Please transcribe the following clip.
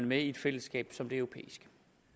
med i et fællesskab som det europæiske